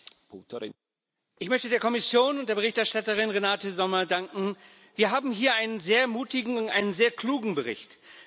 Herr Präsident! Ich möchte der Kommission und der Berichterstatterin Renate Sommer danken. Wir haben hier einen sehr mutigen und einen sehr klugen Bericht.